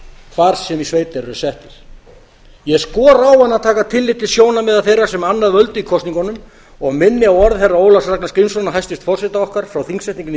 hvar sem í sveit þeir eru settir ég skora á hana að taka tillit til sjónarmiða þeirra sem annað völdu í kosningunum og minni á orð herra ólafs ragnars grímssonar hæstvirts forseta okkar frá þingsetningunni í